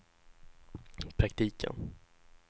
praktiken